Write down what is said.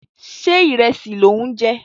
Ṣé ìrẹsì lò ń jẹ?